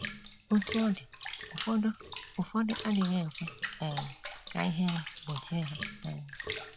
Otú ọ dị, ụfọdụ ụfọdụ adịghị ekwe um ka ihere gbochie ha um.